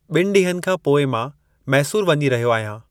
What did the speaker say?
ॿिनि ॾींहनि खां पोई मां मैसूर वञी रहयो आहयां।